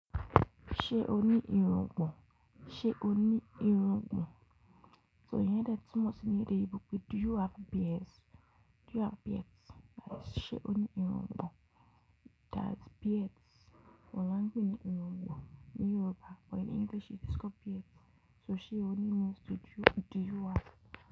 Ṣe o ni irungbọn? Ṣe o ni irungbọn? So iyẹn de tunmo si ní ede oyinbo pé "do you have beards"? Do you have beards? That is ṣe o ni irungbọn? That beards. Oun la n pe ni irungbọn ní Yoruba but in English it is called beards. So ṣe o ni means do you, do you have.